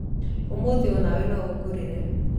Ũmũthĩ onawe no ũngũrire